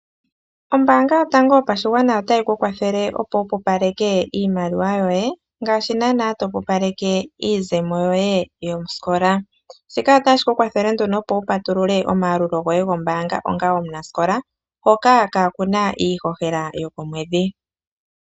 Ombaanga yotango yopashigwana otayi ku kwathele, opo wu pupaleke iimaliwa yoye ngaashi naana topupaleke iizemo yoye yosikola, shika otashi ku kwathele nduno opo wu patulule omayalulo goye gombaanga onga omunasikola hoka ka kuna iihohela yokomwedhi.